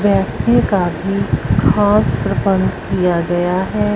व्यक्ति काफी खास प्रबंध किया गया हैं।